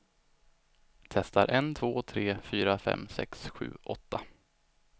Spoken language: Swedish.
Testar en två tre fyra fem sex sju åtta.